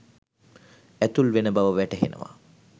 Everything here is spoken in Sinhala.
ඇතුල් වෙන බව වැටහෙනවා